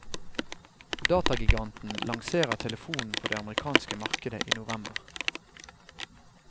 Datagiganten lanserer telefonen på den amerikanske markedet i november.